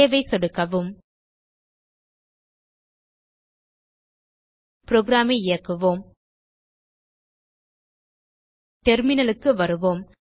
save ஐ சொடுக்கவும் program ஐ இயக்குவோம் டெர்மினல் க்கு வருவோம்